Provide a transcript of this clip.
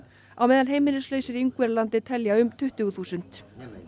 á meðan heimilislausir í Ungverjalandi telja um tuttugu þúsund